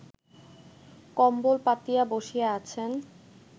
কম্বল পাতিয়া বসিয়া আছেন